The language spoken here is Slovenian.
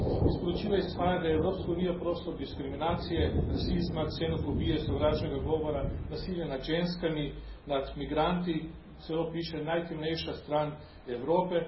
Iz poročila izhaja, da je Evropska unija prostor diskriminacije, rasizma, ksenofobije, sovražnega govora, nasilja nad ženskami, nad migranti, celo piše najtemnejša stran Evrope.